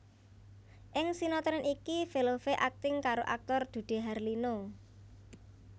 Ing sinetron iki Velove akting karo aktor Dude Harlino